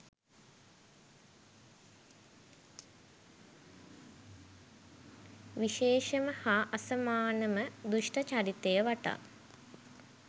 විශේෂම හා අසමානම දුෂ්ට චරිතය වටා